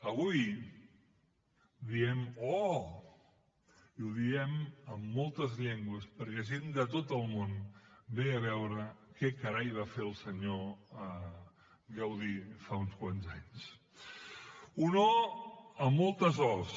avui diem oh i ho diem en moltes llengües perquè gent de tot el món ve a veure què carai va fer el senyor gaudí fa uns quants anys un oh amb moltes os